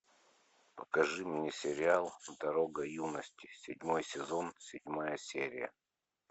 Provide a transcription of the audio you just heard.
покажи мне сериал дорога юности седьмой сезон седьмая серия